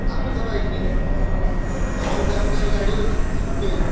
ଆମେ ତ bike ରେ ଯିବୁ। ତମର କାହାଙ୍କର ଗାଡି ଅଛି scooty।